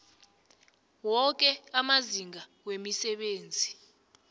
woke amazinga wemisebenzi